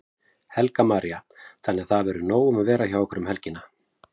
Helga María: Þannig að það verður nóg um að vera hjá ykkur um helgina?